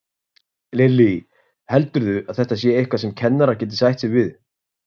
Lillý: Heldurðu að þetta sé eitthvað sem kennarar geti sætt sig við?